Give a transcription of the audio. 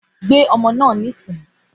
Gbé ọmọ náà báyìí